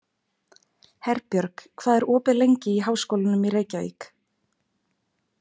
Herbjörg, hvað er opið lengi í Háskólanum í Reykjavík?